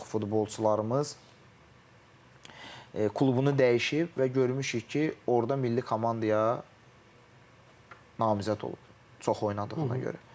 Bir çox futbolçularımız klubunu dəyişib və görmüşük ki, orda milli komandaya namizəd olub çox oynadığına görə.